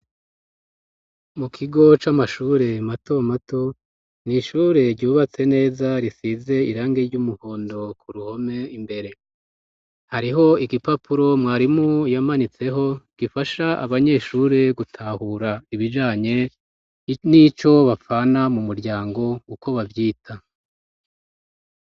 Mu kigo c'amashure mato mato, ni ishure ryubatse neza risize irangi ry'umuhondo ku ruhome imbere. Hariho igipapuro mwarimu yamanitseho gifasha abanyeshure gutahura ibijanye n'ico bapfana mu muryango uko bavyita.